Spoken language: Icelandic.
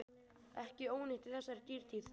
Ekki ónýtt í þessari dýrtíð.